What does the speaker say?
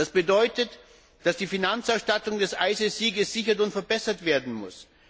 Das bedeutet, dass die Finanzausstattung des IStGH gesichert und verbessert werden muss.